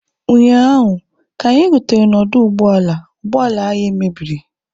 ụnyaahụ, ka anyị rutere n'ọdụ ụgbọ ala ụgbọ ala anyị mebiri